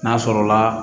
N'a sɔrɔla